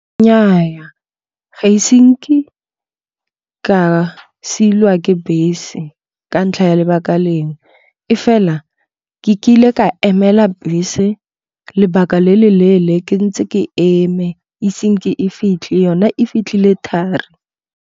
Nnyaya, ga ise nke ka silwa ke bese ka ntlha ya lebaka lengwe. E fela ke kile ka emela bese lebaka le le leele ke ntse ke eme ise senke e fitlhe yone e fitlhile thari.